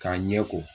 K'a ɲɛ ko